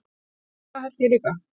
Það held ég líka